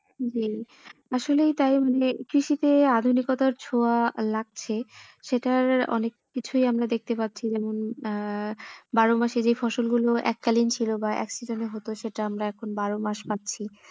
জি আসলে তাই বলে কৃষি তে আধুনিকতার ছোঁয়া লাগছে সেটার অনেক কিছুই আমরা দখতে পাচ্ছি যেমন আহ বারো মাসে যেই ফসল গুলো এক কালিন ছিলো বা এক season এ হতো সেটা এখন আমরা বারো মাস পাচ্ছি।